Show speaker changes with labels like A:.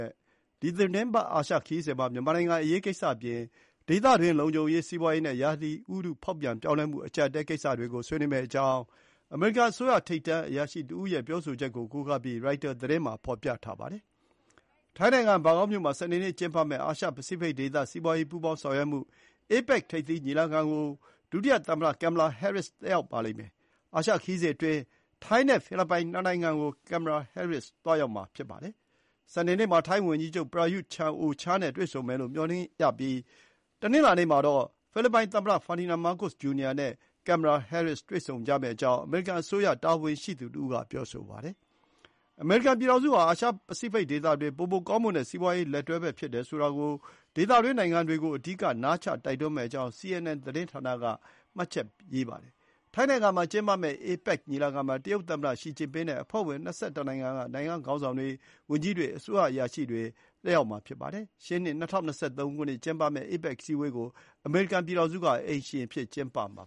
A: ဲ့ ဒီသီတင်းပတ် အာရှခရီးစဉ်မှာ မြန်မာနိုင်ငံ့အရေးကိစ္စအပြင် ဒေသတွင်းလုံခြုံရေး၊ စီးပွားရေးနဲ့ ရာသီဥတုဖေါက်ပြန် ပြောင်းလဲမှု အကြပ်အတည်းကိစ္စတွေကို ဆွေးနွေးမယ့်အကြောင်း အမေရိကန်အစိုးရ ထိပ်တန်းအရာရှိတဦးရဲ့ပြောဆိုချက်ကိုကိုးကားပြီး ရိုက်တာ သတင်းမှာ ဖေါ်ပြထားပါတယ်။ ထိုင်းနိုင်ငံ ဘန်ကောက်မြို့မှာ စနေနေ့ကျင်းပမယ့် အာရှပစိဖိတ်ဒေသ စီးပွားရေးပူပေါင်းဆောင်ရွက်မှု APEC ထိပ်သီးညီလာခံကို ဒုသမ္မတ Kamala Harris တက်ရောက်မှာဖြစ်ပြီး အာရှခရီးစဉ်အတွင်း ထိုင်းနဲ့ဖိလစ်ပိုင်နှစ်နိုင်ငံကို ဒုသမ္မတ Kamala Harris သွားရောက်မှာဖြစ်ပါတယ်။ ဒုသမ္မတ Harris ဟာ စနေနေ့မှာထိုင်းဝန်ကြီးချုပ် Prayuth Chan-ocha နဲ့ တွေ့ဆုံမယ်လို့မျှော်လင့်ရပြီး တနင်္လာနေ့မှာတော့ ဖိလစ်ပိုင် သမ္မတ Ferdinand Marcos Jr. နဲ့ တွေ့ဆုံမယ့်အကြောင်း အမေရိကန်အစိုးရအရာရှိက ပြောဆိုပါတယ်။ အမေရိကန်ပြည်ထောင်စုဟာ အာရှပစိဖိတ်ဒေသအတွက် ပိုမိုကောင်းမွန်တဲ့ စီးပွားရေး လက်တွဲဘက်ဖြစ်တယ်ဆိုတာကို ဒေသတွင်းနိင်ငံတွေကို အဓိက နားချတိုက်တွန်းမယ့်အကြောင်း CNN သတင်းဌာနက ရေးပါတယ်။ ထိုင်းနိုင်ငံမှာ ကျင်းပမယ့် APEC ညီလာခံမှာ တရုတ်သမ္မတ Xi Jinping နဲ့ အဖွဲ့ဝင် ၂၁ နိုင်ငံက နိုင်ငံခေါင်းဆောင်တွေ၊ ဝန်ကြီးတွေ၊ အစိုးရအရာရှိတွေ တက်ရောက်ပါလိမ့်မယ်။ ရှေ့နှစ် ၂၀၂၃ ခုနှစ် ကျင်းပမယ့် APEC အစည်းအဝေးကို အမေရိကန်ပြည်ထောင်စုက အိမ်ရှင်အဖြစ် ကျင်းပမှာ